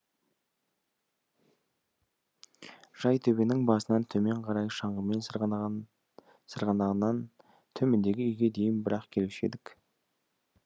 жайтөбенің басынан төмен қарай шаңғымен сырғанаған сырғанағаннан төмендегі үйге дейін бір ақ келуші едік